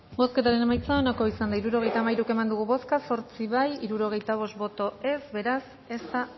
bozketaren emaitza onako izan da hirurogeita hamairu eman dugu bozka zortzi boto aldekoa sesenta y cinco contra beraz ez da